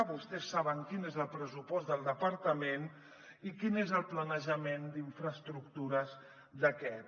vostès sa·ben quin és el pressupost del departament i quin és el planejament d’infraestructures d’aquest